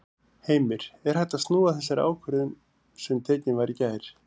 Heimir: Er hægt að snúa þessari ákvörðun sem tekin var í gær?